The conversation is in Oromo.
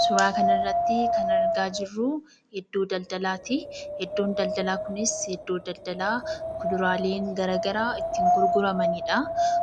Suuraa kanarratti kan argaa jirru iddoo daldalaatii. Iddoon daldalaa kunis iddoo daldalaa muduraaleen garaagaraa itti gurguramanidhaa.